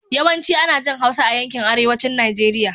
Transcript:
Yawanci ana jin Hausa a yankin arewacin Najeriya.